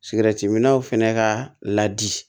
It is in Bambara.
Sigɛrɛti minaw fɛnɛ ka ladi